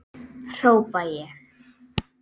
hrópa ég.